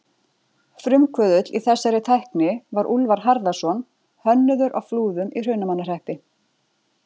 Frumkvöðull í þessari tækni var Úlfar Harðarson hönnuður á Flúðum í Hrunamannahreppi.